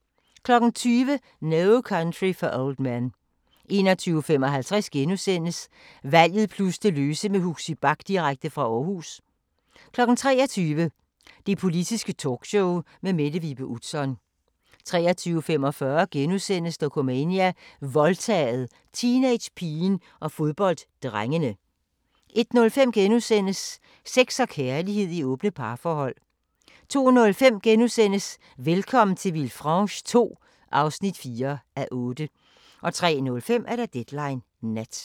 20:00: No Country for Old Men 21:55: Valget plus det løse med Huxi Bach direkte fra Aarhus * 23:00: Det Politiske Talkshow med Mette Vibe Utzon 23:45: Dokumania: Voldtaget – teenagepigen og fodbolddrengene * 01:05: Sex og kærlighed i åbne parforhold * 02:05: Velkommen til Villefranche II (4:8)* 03:05: Deadline Nat